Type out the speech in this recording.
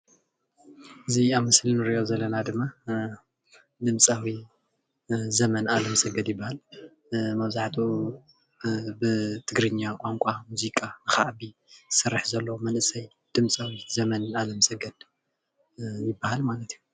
እዚ ኣብ ምስሊ እንሪኦ ዘለና ድማ ድምፃዊ ዘመን ኣለምሰገድ ይባሃል፡፡ መብዛሕትኡ ብትግርኛ ቋንቋ ሙዚቃ ክዓቢ ዝሰርሐ ዘሎ ድምፃዊ ዘመን ኣለምሰገድ ይባሃል ማለት እዩ፡፡